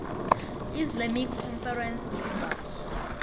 islamic conference members